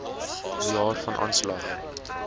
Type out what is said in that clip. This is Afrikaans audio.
jaar van aanslag